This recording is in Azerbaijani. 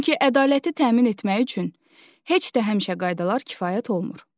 Çünki ədaləti təmin etmək üçün heç də həmişə qaydalar kifayət olmur.